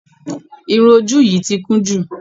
Irun ojú yìí ti kún jù.